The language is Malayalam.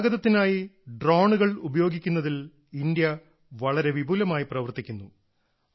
ഗതാഗതത്തിനായി ഡ്രോണുകൾ ഉപയോഗിക്കുന്നതിൽ ഇന്ത്യ വളരെ വിപുലമായി പ്രവർത്തിക്കുന്നു